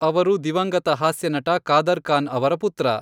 ಅವರು ದಿವಂಗತ ಹಾಸ್ಯನಟ ಕಾದರ್ ಖಾನ್ ಅವರ ಪುತ್ರ.